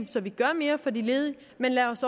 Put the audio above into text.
så vi gør mere for de ledige men